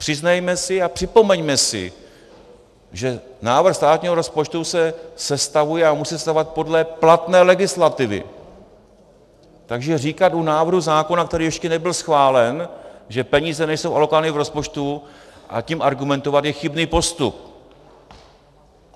Přiznejme si a připomeňme si, že návrh státního rozpočtu se sestavuje a musí sestavovat podle platné legislativy, takže říkat u návrhu zákona, který ještě nebyl schválen, že peníze nejsou alokovány v rozpočtu a tím argumentovat je chybný postup.